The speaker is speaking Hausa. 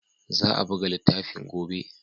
Za a buga littafin gobe.